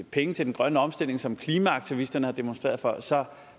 penge til den grønne omstilling som klimaaktivisterne har demonstreret for så